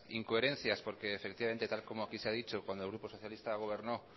incoherencias porque efectivamente tal y como aquí se ha dicho cuando el grupo socialista gobernó